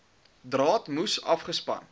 draad moes afgespan